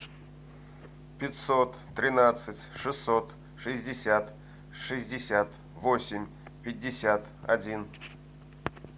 пятьсот тринадцать шестьсот шестьдесят шестьдесят восемь пятьдесят один